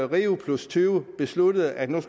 rio20 besluttede at der